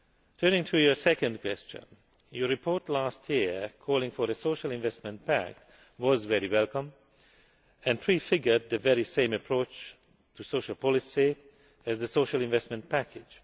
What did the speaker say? Turning to your second question, your report last year calling for a social investment pact was very welcome, and prefigured the very same approach to social policy as the Social Investment Package.